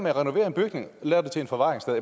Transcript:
at renovere en bygning og lave den til et forvaringssted